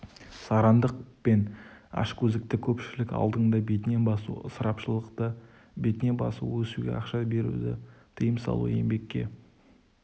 сарандық пен ашкөздікті көпшілік алдында бетіне басу ысырапшылдықты бетіне басу өсуге ақша беруді тыйым салу еңбекке